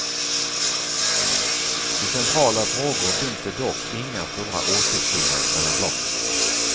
I centrala frågor finns det dock inga stora åsiktsskillnader mellan blocken.